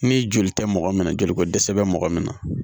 Ni joli tɛ mɔgɔ minɛ joliko dɛsɛ bɛ mɔgɔ min na